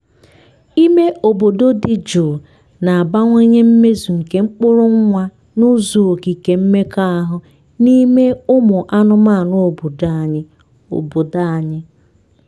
ime obodo dị jụụ na-abawanye mmezu nke mkpụrụ nwa n’ụzọ okike mmekọahụ n’ime ụmụ anụmanụ obodo anyị. obodo anyị.